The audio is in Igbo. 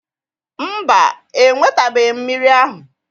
Mba, enwetabeghị m mmiri ahụ